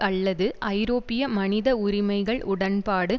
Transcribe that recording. அல்லது ஐரோப்பிய மனித உரிமைகள் உடன்பாடு